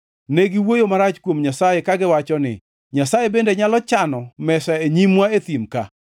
Ne giwuoyo marach kuom Nyasaye kagiwacho ni, “Nyasaye bende nyalo chano mesa e nyimwa e thim ka?